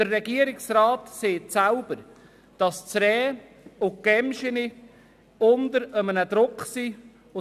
Der Regierungsrat sagt selbst, dass die Rehe und Gämsen unter Druck stehen.